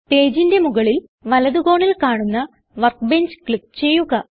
Pageന്റെ മുകളിൽ വലത് കോണിൽ കാണുന്ന വർക്ക്ബെഞ്ച് ക്ലിക്ക് ചെയ്യുക